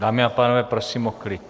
Dámy a pánové, prosím o klid.